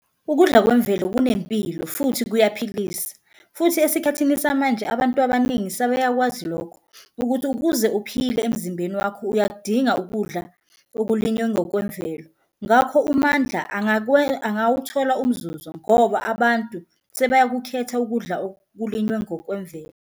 Ukudla kwemvelo kunempilo futhi kuyaphilisa futhi esikhathini samanje abantu abaningi sebeyakwazi lokho ukuthi ukuze uphile emzimbeni wakho uyakudinga ukudla okulinywe ngokwemvelo. Ngakho uMandla angawuthola umzuzu ngoba abantu sebeyakukhetha ukudla okulinyiwe ngokwemvelo.